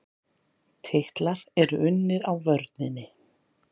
Titlar eru unnir á vörninni.